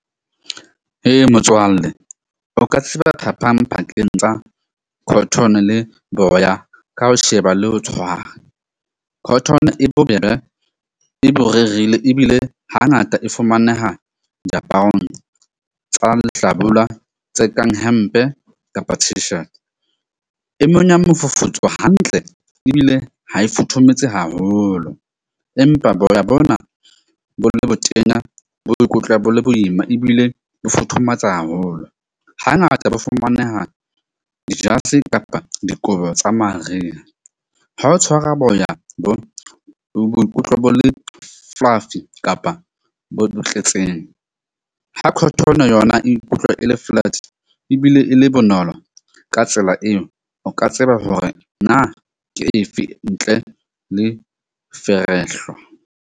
Motswalle o ka tseba phapang pakeng tsa cotton-o le boya, ka ho sheba le ho tshwara. Cotton-o e bobebe e ebile hangata e fumaneha diaparong tsa lehlabula tse kang hempe kapa e monya mofufutso hantle ebile ha e futhumetse haholo. Empa boya bona bo le botenya bo ikutlwa bo le boima ebile bo futhumatsa haholo. Hangata bo fumaneha kapa dikobo tsa mariha. Ha o tshwara boya bo boikutlo bo le fluffy kapa bo tletseng. Ha cotton-o yona ikutlwe e le ebile e le bonolo. Ka tsela eo o ka tseba hore na ke efe ntle le .